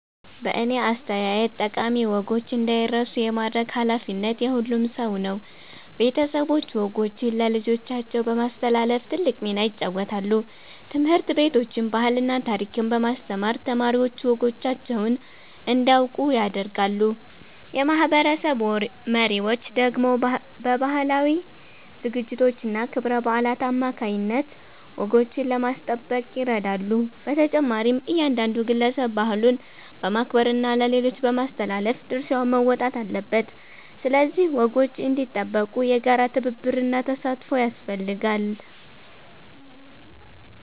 በእኔ አስተያየት ጠቃሚ ወጎች እንዳይረሱ የማድረግ ኃላፊነት የሁሉም ሰው ነው። ቤተሰቦች ወጎችን ለልጆቻቸው በማስተላለፍ ትልቅ ሚና ይጫወታሉ። ትምህርት ቤቶችም ባህልና ታሪክን በማስተማር ተማሪዎች ወጎቻቸውን እንዲያውቁ ያደርጋሉ። የማህበረሰብ መሪዎች ደግሞ በባህላዊ ዝግጅቶችና ክብረ በዓላት አማካይነት ወጎችን ለማስጠበቅ ይረዳሉ። በተጨማሪም እያንዳንዱ ግለሰብ ባህሉን በማክበርና ለሌሎች በማስተላለፍ ድርሻውን መወጣት አለበት። ስለዚህ ወጎች እንዲጠበቁ የጋራ ትብብርና ተሳትፎ ያስፈልጋል።